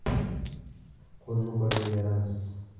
q o‘lni q o‘lga beramiz !